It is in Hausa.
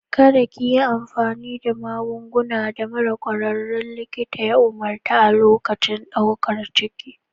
Kada ki yi amfani da magungunan da mara ƙwararrun likita ya umarta a lokacin ɗaukar ciki.